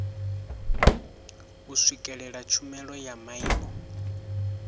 u swikelela tshumelo ya maimo